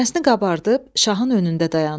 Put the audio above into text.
Sinəsini qabardıb şahın önündə dayandı.